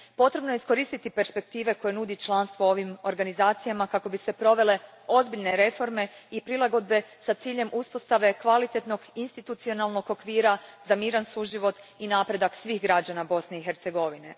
Potrebno je iskoristiti perspektive koje nudi članstvo u ovim organizacijama kako bi se provele ozbiljne reforme i prilagodbe s ciljem uspostave kvalitetnog institucionalnog okvira za miran suživot i napredak svih građana Bosne i Hercegovine.